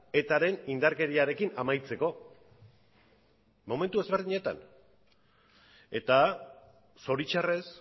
etaren indarkeriarekin amaitzeko momentu ezberdinetan eta zoritxarrez